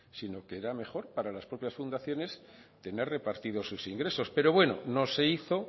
sino que era mejor para las propias fundaciones tener repartidos sus ingresos pero bueno no se hizo